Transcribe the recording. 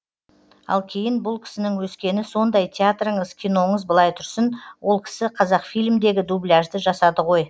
ал кейін бұл кісінің өскені сондай театрыңыз киноңыз былай тұрсын ол кісі қазақфильмдегі дубляжды жасады ғой